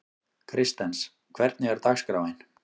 Kristens, hvernig er dagskráin?